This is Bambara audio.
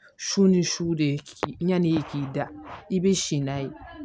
Su ni su de k'i ɲan'i k'i da i bi si n'a ye